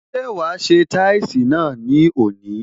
Ṣé wa se táìsì ní òní?